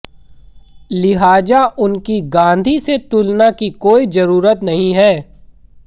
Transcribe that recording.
लिहाजा उनकी गांधी से तुलना की कोई जरूरत नहीं है